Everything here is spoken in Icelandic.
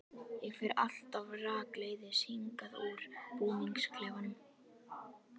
Ég fer alltaf rakleiðis hingað úr búningsklefanum.